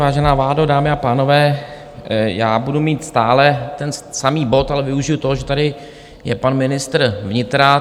Vážená vládo, dámy a pánové, já budu mít stále ten samý bod, ale využiji toho, že tady je pan ministr vnitra.